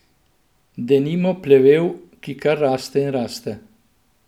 Denimo plevel, ki kar raste in raste.